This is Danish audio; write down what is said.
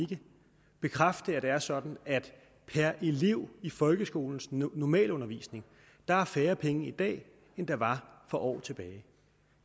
ikke bekræfte at det er sådan at per elev i folkeskolens normalundervisning er der færre penge i dag end der var for år tilbage